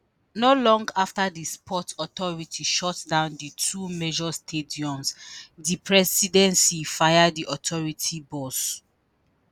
not long afta di sports authority shutdown di two major stadiums di presidency fire di authority boss.